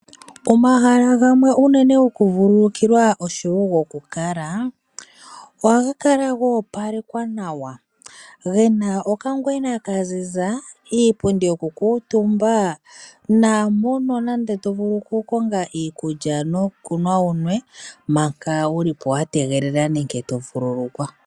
Omahala gamwe unene goku vululukilwa oshowo goku kala ohaga kala ga opalekwa nawa, gena oka ngwena ka ziza, iipundi yoku kutumba , naampono nande to vulu oku konga iikulya nokunwa wu nwe manga wulipo wa tegelela nenge to vululukwa.